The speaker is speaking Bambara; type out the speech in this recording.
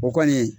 O kɔni